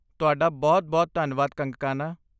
ਤੁਹਾਡਾ ਬਹੁਤ ਬਹੁਤ ਧੰਨਵਾਦ ਕੰਗਕਾਨਾ!